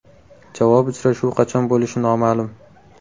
Javob uchrashuvi qachon bo‘lishi noma’lum.